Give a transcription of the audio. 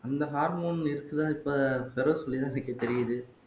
அந்த ஹார்மோன் இருக்குதா இப்ப பெரோஸ் சொல்லிதான் எனக்கு தெரியுது